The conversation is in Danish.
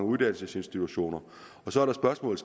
uddannelsesinstitutioner så er spørgsmålet